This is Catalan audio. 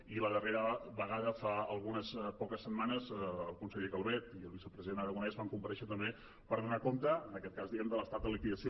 i la darrera vegada fa algunes poques setmanes el conseller calvet i el vicepresident aragonès van comparèixer també per donar compte en aquest cas diguem ne de l’estat de liquidació